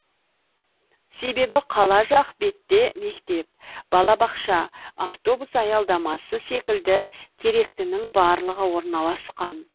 себебі қала жақ бетте мектеп балабақша автобус аялдамасы секілді керектінің барлығы орналасқан